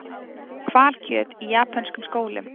Hvalkjöt í japönskum skólum